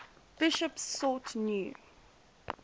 bishops sought new